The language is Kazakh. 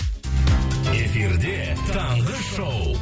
эфирде таңғы шоу